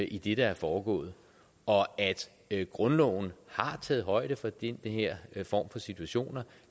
i det der er foregået og at grundloven har taget højde for de her situationer